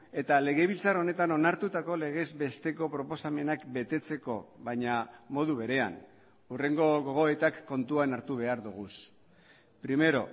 eta legebiltzar honetan onartutako legez besteko proposamenak betetzeko baina modu berean hurrengo gogoetak kontuan hartu behar dugu primero